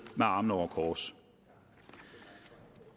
med armene over kors